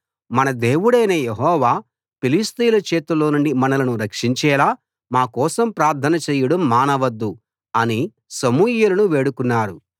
మన దేవుడైన యెహోవా ఫిలిష్తీయుల చేతిలోనుండి మనలను రక్షించేలా మా కోసం ప్రార్థన చేయడం మానవద్దు అని సమూయేలును వేడుకున్నారు